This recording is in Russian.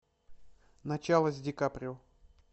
начало с ди каприо